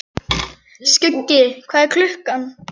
Skuggi, hvað er klukkan?